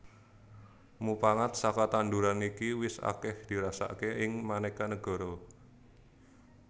Mupangat saka tanduran iki wis akèh dirasakaké ing manéka negara